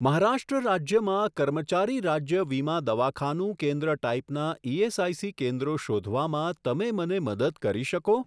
મહારાષ્ટ્ર રાજ્યમાં કર્મચારી રાજ્ય વીમા દવાખાનું કેન્દ્ર ટાઈપનાં ઇએસઆઇસી કેન્દ્રો શોધવામાં તમે મને મદદ કરી શકો?